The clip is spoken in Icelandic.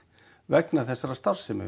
vegna þessarar starfsemi